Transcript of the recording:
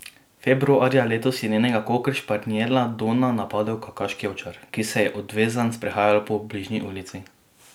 Februarja letos je njenega kokeršpanjela Dona napadel kavkaški ovčar, ki se je odvezan sprehajal po bližnji ulici.